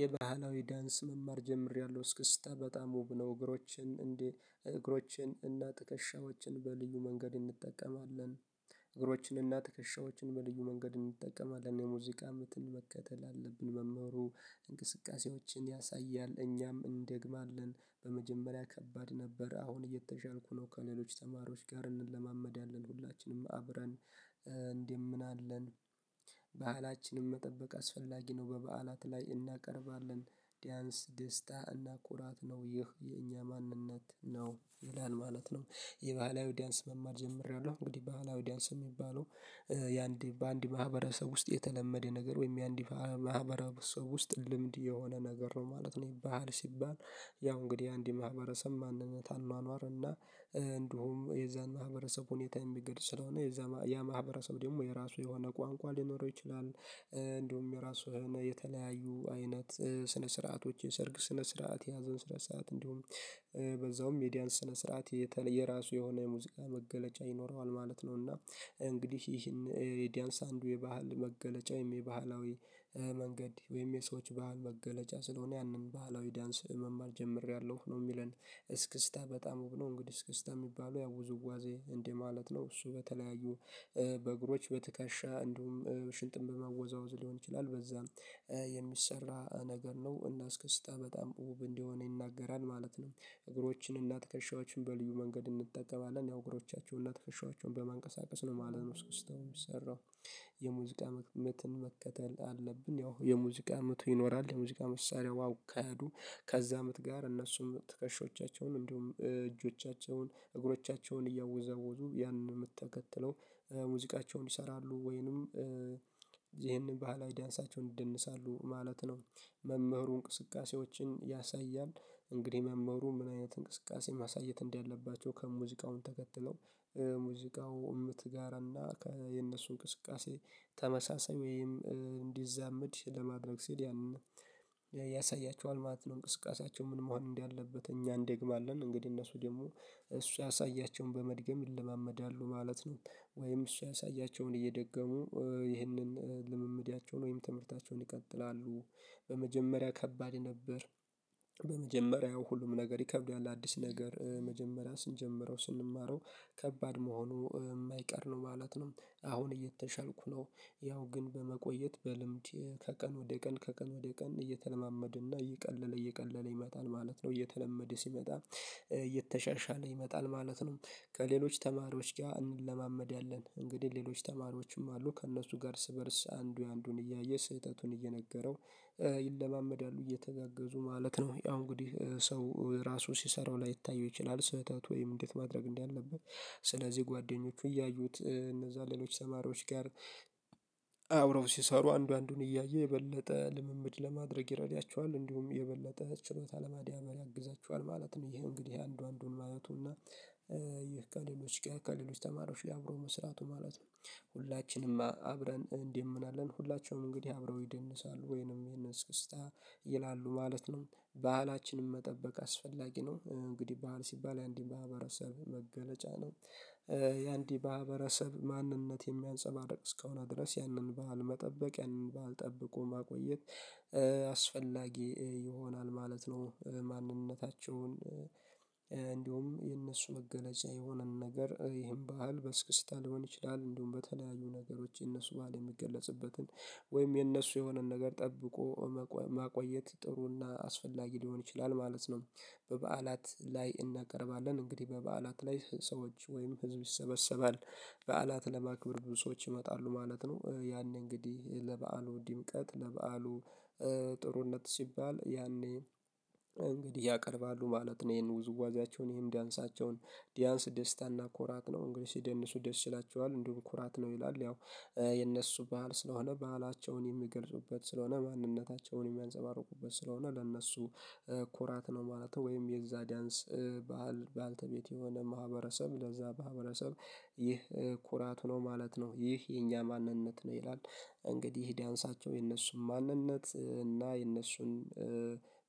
የባህላዊ ዳንስ መማር ጀምሬያለሁ እስክስታ በጣም ውብ ነው እግሮቼን፣ እግሮቼን እና ትክሻዎችን በልዩ መንገድ እንጠቀማለን እግሮችንና ትክሻዎችን በልዩ መንገድ እንጠቀማለን የሙዚቃ ምትን መከተል አለብን መምህሩ እንቅስቃሴዎችን ያሳያል እኛም እንደግማለን በመጀመሪያ ከባድ ነበር አሁን እየተሻልኩ ነው ከነሌሎች ተማሪዎች ጋር እንለማመዳለን ሁላችንም አብረን እንደምን አለን ባህላችንን መጠበቅ አስፈላጊ ነው በበዓላት ላይ እናቀርባለን ዲያንስ ደስታ እና ኩራት ነው ይህ የኛ ማንነት ነው ይላል ማለት ነው የባህላዊ ዳንስ መማር ጀምሬያለሁ እንግዲህ ባህላዊ ዳንስ የሚባለው ያንድ በአንድ ማህበረሰብ ውስጥ የተለመደ ነገር ወይም ያንድ ሰው ውስጥ ልምድ የሆነ ነገር ነው ማለት ነው ባህል ሲባል ያው እንግዲህ ያንድ ማህበረሰብ ማንነት አኗኗር እና እንዲሁም የዛን ማህበረሰብ ሁኔታ የሚገጽ ስለሆነ የዛ ያ ማህበረሰብ ደግሞ የራሱ የሆነ ቋንቋ ሊኖረው ይችላል እንዲሁም የራሱን የተለያዩ አይነት ስነ ስርዓቶች የሰርግ ስነ ስርዓት የሀዘን ስነ ሰዓት እንዲሁም በዛውም የዲያን ስነ ስርዓት የተለየ ራሱ የሆነ የሙዚቃ መገለጫ ይኖረዋል ማለት ነውና እንግዲህ ይህን የዲያንስ አንዱ የባህል መገለጫ ወይም የባህላዊ መንገድ ወይም የሰዎች ባህል መገለጫ ስለሆነ ያንን ባህላዊ ዳንስ መማር ጀምሬያለሁ ነው የሚለን እስክስታ በጣም ነው እንግዲህ እስክስታ የሚባለው ያው ውዝዋዜ እንደ ማለት ነው። እሱ በተለያዩ በእግሮች በትከሻ እንዲሁም ሽንጥን በማወዛወዝ ሊሆን ይችላል በዛም የሚሰራ ነገር ነው እና እስከ እስክስታ በጣም ውብ እንደሆነ ይናገራል ማለት ነው። እግሮችንና ትከሻዎችን በልዩ መንገድ እንጠቀማለን ያው እግሮችን እና ትክሻዎችን በማንቀሳቀስ ነው ማለት ነው እስክስታው የሚሰራው የሙዚቃ ምትን መከተል አለብን ያው የሙዚቃ ምቱ ይኖራል የሙዚቃ መሳሪያው አካሄዱ ከዛ ምት ጋር እነሱም ትከሻዎቻቸውን እንዲሁም እጆቻቸውን እግሮቻቸውን እያወዛወዙ ያንን ምት ተከትለው ሙዚቃቸውን ይሰራሉ። ወይንም ይሄንን ባህላዊ ዳንሳቸውን ይደንሳሉ ማለት ነው መምህሩ እንቅስቃሴዎችን ያሳያል እንግዲህ መምህሩ ምን አይነት እንቅስቃሴ ማሳየት እንዳለባቸው ከሙዚቃውን ተከትለው ሙዚቃው ምት ጋር እና የነሱ እንቅስቃሴ ተመሳሳይ ወይም እንዲዛመድ ለማድረግ ሲል ያንን ያሳያቸዋል ማለት ነው እንቅስቃሳቸው ምን መሆን እንዳለበት እኛ እንደግማለን እንግዲህ እነሱ ደግሞ እሱ ያሳያቸውን በመድገም ይለማመዳሉ ማለት ነው። ወይም እሱ ያሳያቸውን እየደገሙ ይህንን ልምምዴያቸውን ወይም ትምህርታቸውን ይቀጥላሉ በመጀመሪያ ከባድ የነበር በመጀመሪያው ሁሉም ነገር ይከብዳል አዲስ ነገር መጀመሪያ ስንጀምረው ስንማረው ከባድ መሆኑ የማይቀር ነው ማለት ነው አሁን እየተሻልኩ ነው ያው ግን በመቆየት በልምድ ከቀን ወደ ቀን ከቀን ወደ ቀን እየተለማመደና እየቀለለ እየቀለለ ይመጣል ማለት ነው እየተለመደ ሲመጣ እየተሻሻለ ይመጣል ማለት ነ። ከሌሎች ተማሪዎች ጋር እንለማመዳለን እንግዲህ ሌሎች ተማሪዎችም አሉ ከእነሱ ጋር ርስ በርስ አንዱ የአንዱን እያየ ስህተቱን እየነገረው እየተጋገዙ ማለት ነው ያው እንግዲህ ሰው ራሱ ሲሰራው ላይታየው ይችላል ስህተት ወይም እንዴት ማድረግ እንዳለበት ስለዚህ ጓደኞቹ እያዩት እነዛ ሌሎች ተማሪዎች ጋር አብረው ሲሰሩ አንዱ አንዱን እያየ የበለጠ ልምምድ ለማድረግ ይረዳቸዋል እንዲሁም የበለጠ ችሎታ ለማዳበር ያግዛቸዋል ማለት ነው። ይሄ እንግዲህ አንዱ አንዱን ማለቱ እና ይህ ከሌሎች ከሌሎች ተማሪዎች አብሮ መስራቱ ማለት ነው ሁላችንም አብረን እንዲህ እንደምናለን ሁላቸውም እንግዲህ አብረው ይደንሳሉ ወይንም ይሄንን እስክስታ ይላሉ ማለት ነው ባህላችንን መጠበቅ አስፈላጊ ነው እንግዲህ ባህል ሲባል ያንድ ማህበረሰብ መገለጫ ነው። የአንዲ ማህበረሰብ ማንነት የሚያንፀባርቅ እስከሆነ ድረስ ያንን ባህል መጠበቅ ያንን ባልህ ጠብቆ ማቆየት አስፈላጊ ይሆናል ማለት ነው። ማንነታቸውን እንዲሁም የእነሱ መገለጫ የሆነን ነገር ይሄን ባህል በእስክስታ ሊሆን ይችላል እንዲሁም በተለያዩ ነገሮች የነሱ ባል የሚገለጽበትን ወይም የነሱ የሆነን ነገር ጠብቆ ማቆየት ጥሩና አስፈላጊ ሊሆን ይችላል ማለት ነው፤ በበዓላት ላይ እናቀርባለን እንግዲህ በበዓላት ላይ ሰዎች ወይም ህዝብ ይሰበሰባል በዓላት ለማክብር ብዙ ሰዎች ይመጣሉ ማለት ነው፤ ያኔ እንግዲህ ለበአሉ ድምቀት ለበአሉ ጥሩነት ሲባል ያኔ እንግዲህ ያቀርባሉ ማለት ነው ይሄን ውዝዋዜያቸውን ይሄን ዳንሳቸውን ዳንስ ደስታና ኮራት ነው እንግዲህ ሲደንሱ ደስ ይላቸዋል እንዲሁም ኩራት ነው ይላል ያው የእነሱ በዓል ስለሆነ በዓላቸውን የሚገልጹበት ስለሆነ ማንነታቸውን የሚያንፀባርቁበት ስለሆነ ለእነሱ ኮራት ነው ማለት ነው፤ ወይም የዛ ዳንስ በዓል ባልተቤት የሆነ ማህበረሰብ ለዛ ማህበረሰብ ይህ ኩራቱ ነው ማለት ነው ይህ የኛ ማንነት ነው ይላል እንግዲህ ይህ ዳንሳቸው የነሱን ማንነት እና የእነሱን